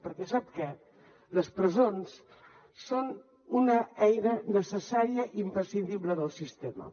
perquè sap què les presons són una eina necessària i imprescindible del sistema